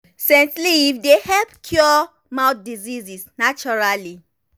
scent leaf dey help cure mouth disease naturally.